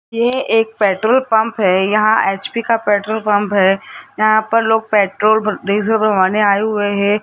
ये एक petrol pump है यहां एच_पी का पेट्रोल पंप है यहां पर लोग पेट्रोल डीजल भरवाने आये हुए है।